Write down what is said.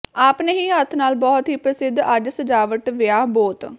ਆਪਣੇ ਹੀ ਹੱਥ ਨਾਲ ਬਹੁਤ ਹੀ ਪ੍ਰਸਿੱਧ ਅੱਜ ਸਜਾਵਟ ਵਿਆਹ ਬੋਤ